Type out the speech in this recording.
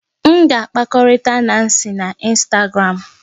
M ga-akpakọrịta Nancy na Instagram